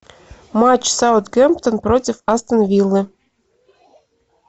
матч саутгемптон против астон виллы